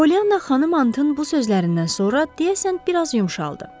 Pollyana Xanım Hanntın bu sözlərindən sonra deyəsən biraz yumşaldı.